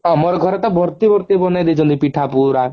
ଆମର ଘରେ ତ ଭର୍ତି ଭର୍ତି ବନେଇ ଦେଇଛନ୍ତି ପିଠା ପୁରା